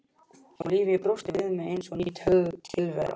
Og lífið brosti við mér eins og ný tilvera.